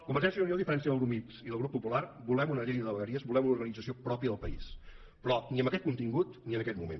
convergència i unió a diferència del grup mixt i del grup popular volem una llei de vegueries volem una organització pròpia del país però ni amb aquest contingut ni en aquest moment